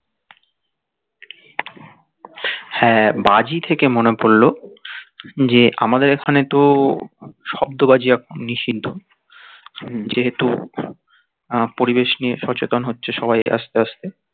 হ্যাঁ বাজি থেকে মনে পড়লো যে আমাদের এখানে তো শব্দ বাজি এখন নিষিদ্ধ যেহেতু পরিবেশ নিয়ে সচেতন হচ্ছে সবাই আস্তে আস্তে